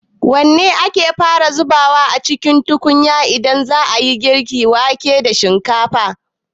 Wanne ake fara zubawa a cikin tukunya idan za a yi girka wake da shinkafa?